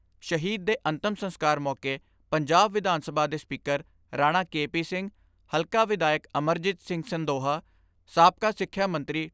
ਸ਼ਹੀਦ ਦੇ ਅੰਤਮ ਸੰਸਕਾਰ ਮੌਕੇ ਪੰਜਾਬ ਵਿਧਾਨ ਸਭਾ ਦੇ speaker Rana K P Singh, ਹਲਕਾ ਵਿਧਾਇਕ ਅਮਰਜੀਤ ਸਿੰਘ ਸੰਦੋਹਾ, ਸਾਬਕਾ ਸਿੱਖਿਆ ਮੰਤਰੀ ਡਾ.